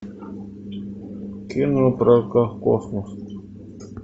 кино про космос